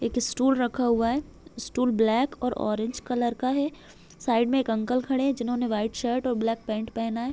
एक स्टूल रखा हुआ है स्टूल ब्लैक और ऑरेंज कलर का है साइड मे एक अंकल खड़े है जिन्होंने वाइट शर्ट और ब्लैक पेंट पेहना है।